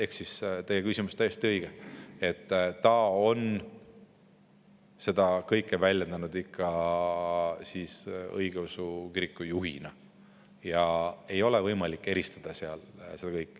Ehk siis teie küsimus on täiesti õige, ta on seda kõike väljendanud ikkagi õigeusu kiriku juhina, neid asju ei ole võimalik eristada.